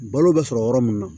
Balo bɛ sɔrɔ yɔrɔ min na